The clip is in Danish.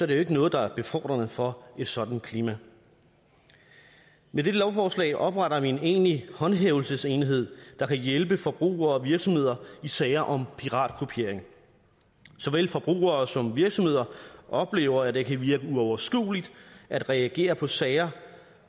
det jo ikke noget der er befordrende for et sådant klima med dette lovforslag opretter vi en egentlig håndhævelsesenhed der kan hjælpe forbrugere og virksomheder i sager om piratkopiering såvel forbrugere som virksomheder oplever at det kan virke uoverskueligt at reagere på sager